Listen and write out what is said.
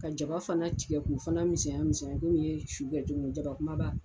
Ka jaba fana tigɛ k'u fana misɛnya misɛnya komi i ye su kɛ cogomi jaba kumaba.